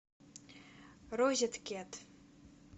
розеткет